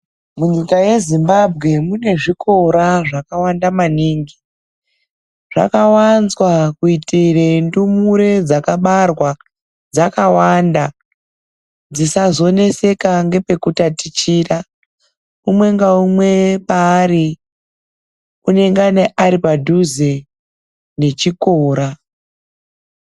Munyika yeZimbabwe mune zvikora zvakawanda maningi. Zvakawanzwa kuitira ndumure dzakabarwa dzakawanda dzisazonetseka nepekutatichira. Umwe ngaumwe paari, anenge ari padhuze nechikora.